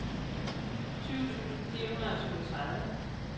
tyve tusind fire hundrede og syvogtredive